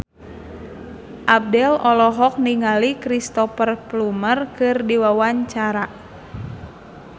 Abdel olohok ningali Cristhoper Plumer keur diwawancara